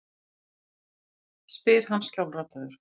spyr hann skjálfraddaður.